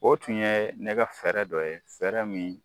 O tun ye ne ka fɛɛrɛ dɔ ye fɛɛrɛ min